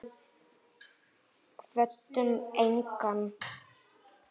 Kvöddum engan.